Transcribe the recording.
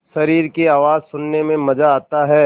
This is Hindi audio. शरीर की आवाज़ सुनने में मज़ा आता है